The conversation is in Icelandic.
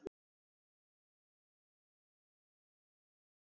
Kóngulóin hélt áfram ferð sinni eftir borðplötunni.